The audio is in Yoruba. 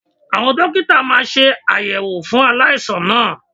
Àwọn Dókítà máa aṣàyẹ̀wò fún aláìsàn náà.